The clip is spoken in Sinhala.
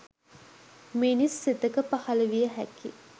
මිනිස් සිතක පහළ විය හැකි